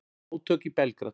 Átök í Belgrad